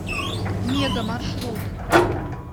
мега маршрут